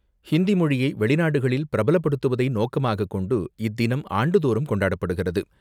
ஹிந்தி மொழியை வெளிநாடுகளில் பிரபலப்படுத்துவதை நோக்கமாக கொண்டு, இத்தினம் ஆண்டுதோறும் கொண்டாடப்படுகிறது.